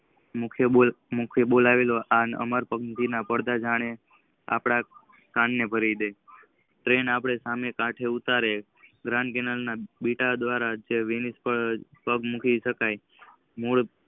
બોલવાની આ અમર્પણ મુખી ના પડદા જયારે આપણા કંઈ ભરીદે ટ્રીન આપણા સામે કાઢે ઉતારી